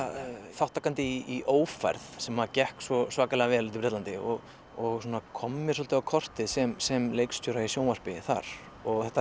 þátttakandi í ófærð sem að gekk svo svakalega vel úti í Bretlandi og og kom mér svolítið á kortið sem sem leikstjóri í sjónvarpi þar þetta